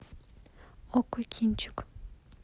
окко кинчик